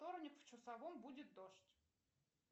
вторник в часовом будет дождь